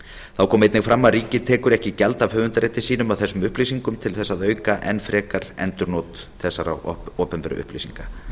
þá kom einnig fram að ríkið tekur ekki gjald af höfundarrétti sínum að þessum upplýsingum til að auka enn frekar endurnot þessara opinberu upplýsinga